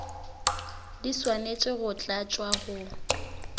di swanetše go tlatšwa go